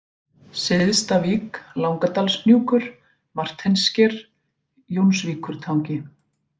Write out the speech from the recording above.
Syðstavík, Langadalshnjúkur, Marteinssker, Jónsvíkurtangi